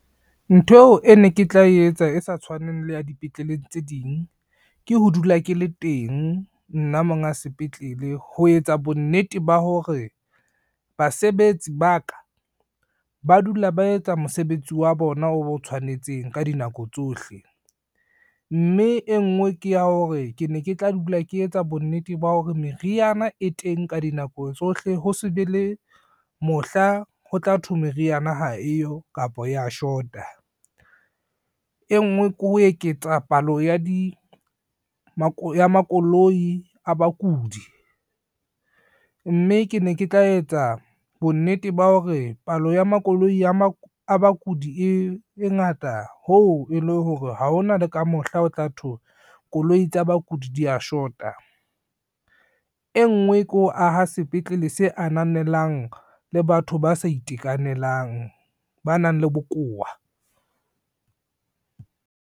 Ntho eo e ne ke tla etsa e sa tshwaneng le ya dipetleleng tse ding, ke ho dula ke le teng nna monga sepetlele ho etsa bonnete ba hore, basebetsi ba ka ba dula ba etsa mosebetsi wa bona o tshwanetseng ka dinako tsohle. Mme e ngwe ke ya hore ke ne ke tla dula ke etsa bonnete ba hore meriana e teng ka dinako tsohle ho se be le mohla ho tla thwe meriana ha eyo kapa ya short-a, e ngwe ke ho eketsa palo ya makoloi a bakudi, mme ke ne ke tla etsa bonnete ba hore palo ya makoloi a bakudi e ngata hoo e le hore ha hona le ka mohla o tla thwe koloi tsa bakudi dia shota, e ngwe ke ho aha sepetlele se ananelang le batho ba sa itekanelang, ba nang le bokowa.